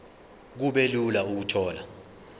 kube lula ukuthola